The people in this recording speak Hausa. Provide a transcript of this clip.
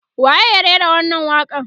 waye ya rera wannan waƙa n